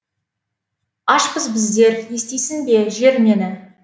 ашпыз біздер естисің бе жер мені